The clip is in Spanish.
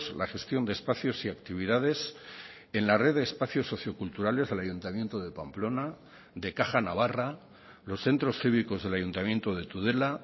la gestión de espacios y actividades en la red de espacios socioculturales del ayuntamiento de pamplona de caja navarra los centros cívicos del ayuntamiento de tudela